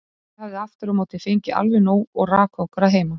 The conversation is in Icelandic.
Liðamótin í klakaböndum.